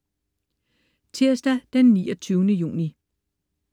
Tirsdag den 29. juni